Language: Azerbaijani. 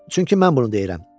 Çünki mən bunu deyirəm.